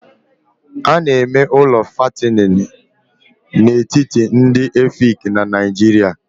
A na-eme ụlọ fattening n'etiti ndị Efik na Nigeria